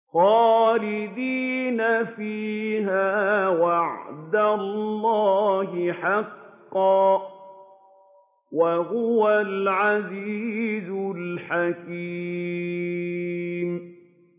خَالِدِينَ فِيهَا ۖ وَعْدَ اللَّهِ حَقًّا ۚ وَهُوَ الْعَزِيزُ الْحَكِيمُ